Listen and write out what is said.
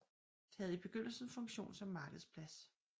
Det havde i begyndelsen funktion som markedsplads